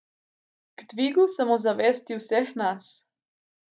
K dvigu samozavesti vseh nas.